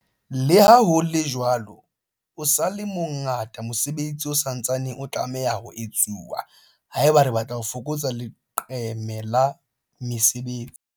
Leha ho le jwalo, o sa le mo ngata mosebetsi o sa ntsaneng o tlameha ho etsuwa haeba re batla ho fokotsa leqeme la mesebetsi.